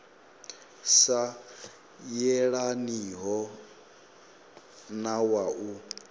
sa yelaniho na wa u